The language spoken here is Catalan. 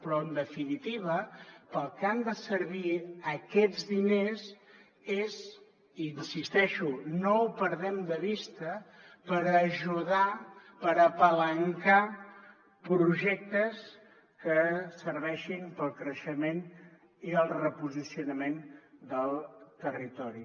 però en definitiva per al que han de servir aquests diners és i hi insisteixo no ho perdem de vista per ajudar per apalancar projectes que serveixin per al creixement i el reposicionament del territori